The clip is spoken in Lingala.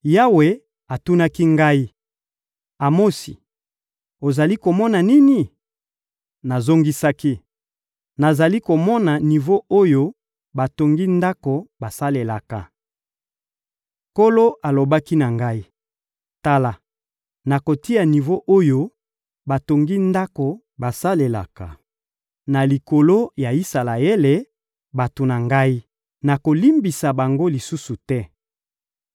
Yawe atunaki ngai: — Amosi, ozali komona nini? Nazongisaki: — Nazali komona nivo oyo batongi ndako basalelaka. Nkolo alobaki na ngai: — Tala, nakotia nivo oyo batongi ndako basalelaka na likolo ya Isalaele, bato na Ngai. Nakolimbisa bango lisusu te.